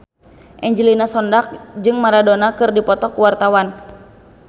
Angelina Sondakh jeung Maradona keur dipoto ku wartawan